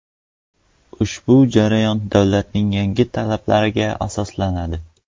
Ushbu jarayon davlatning yangi talablariga asoslanadi.